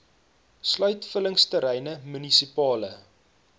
sluit vullingsterreine munisipale